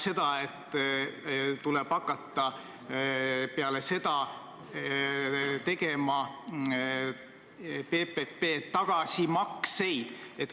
See tähendab, et pärast seda tuleb hakata tegema PPP tagasimakseid.